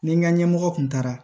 Ni n ka ɲɛmɔgɔ kun taara